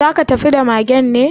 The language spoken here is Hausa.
Za ka tafi da magen ne?